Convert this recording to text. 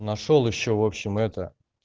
нашёл ещё в общем это